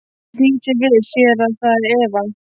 Hann snýr sér við, sér að það er Eva.